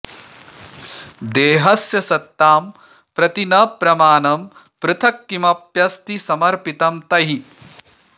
देहस्य सत्तां प्रति न प्रमाणं पृथक् किमप्यस्ति समर्पितं तैः